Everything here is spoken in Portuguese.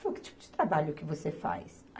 Falou, que tipo de trabalho que você faz?